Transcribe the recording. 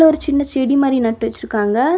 இதுல ஒரு சின்ன செடி மாறி நட்டு வச்சிருக்காங்க.